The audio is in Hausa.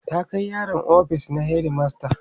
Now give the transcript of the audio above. ta Kai yaron ofis na headmaster